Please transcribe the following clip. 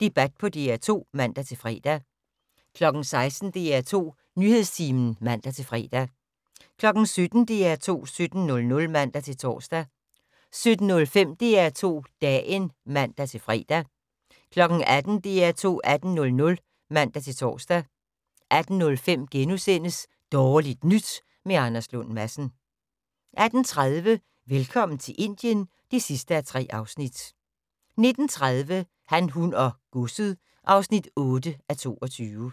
Debat på DR2 (man-fre) 16:00: DR2 Nyhedstimen (man-fre) 17:00: DR2 17:00 (man-tor) 17:05: DR2 Dagen (man-fre) 18:00: DR2 18:00 (man-tor) 18:05: Dårligt Nyt med Anders Lund Madsen * 18:30: Velkommen til Indien (3:3) 19:30: Han, hun og godset (8:22)